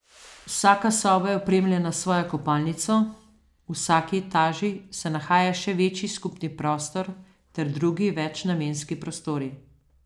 Vsaka soba je opremljena s svojo kopalnico, v vsaki etaži se nahaja še večji skupni prostor ter drugi večnamenski prostori.